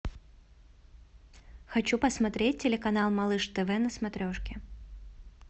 хочу посмотреть телеканал малыш тв на смотрешке